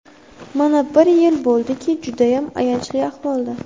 Mana, bir yil bo‘ldiki, judayam ayanchli ahvolda.